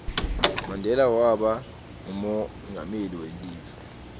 mandela waba ngumonqameli welive